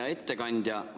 Hea ettekandja!